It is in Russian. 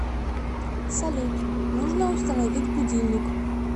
салют нужно установить будильник